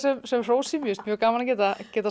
sem hrósi mér finnst mjög gaman að geta að geta